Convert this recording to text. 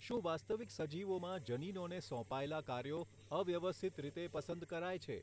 શું વાસ્તવિક સજીવોમાં જનીનોને સોંપાયેલા કાર્યો અવ્યવસ્થિત રીતે પસંદ કરાય છે?